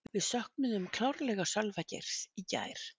Við söknuðum klárlega Sölva Geirs í gær.